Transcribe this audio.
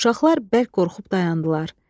Uşaqlar bərk qorxub dayandılar.